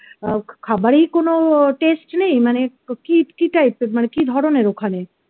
ও খাবারেই কোন test নেই মানে কি কি টাইপের মানে কি ধরনের ওখানে